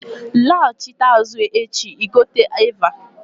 bya alọta azụ l'echi-ẹgu ono